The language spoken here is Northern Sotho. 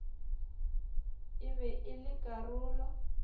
e be e le karolo